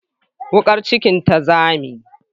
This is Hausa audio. Wukar kicin ta zame.